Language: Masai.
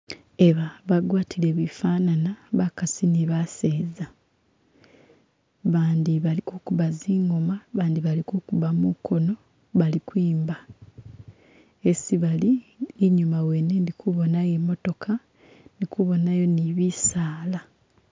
Eba bagwatile bifanani bakasi ni baseza abandi bali kukuba zingoma abandi bali kukuba mukono bali kwimba hesi bali inyuma wene indi kubonayo imotooka ndi kubonayo ni bisaala